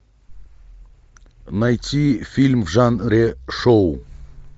найти фильм в жанре шоу